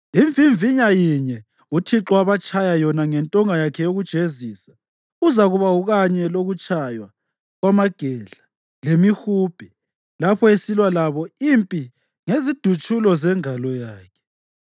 Imvimvinya yinye uThixo abatshaya yona ngentonga yakhe yokujezisa, uzakuba ukanye lokutshaywa kwamagedla lemihubhe, lapho esilwa labo impi ngezidutshulo zengalo yakhe.